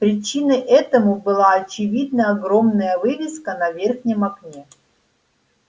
причиной этому была очевидно огромная вывеска на верхнем окне